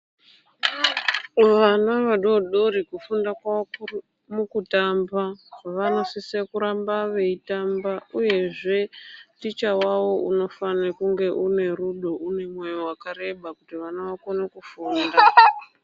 Vana vadodori kufunda kwavo kuri mukutamba, vanosisa kuramba veyitamba uyezve, ticha wavo unofane kunge unerudo, unemwoyo wakareba kuti vana vakone kufunda.